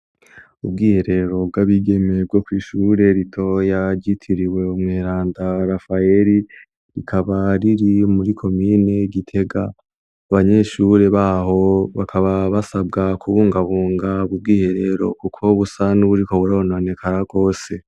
Ubwiherero bw'abigemeye bwo kw' ishure ritoya ryitiriwe Umweranda Rafaheri; rikaba riri muri komine Gitega. Abanyeshure baho bakaba basabwa kubungabunga ubu bwiherero kuko busa n'uburiko burononekara rwose.